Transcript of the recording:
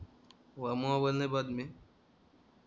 mobile नाही पाहत मी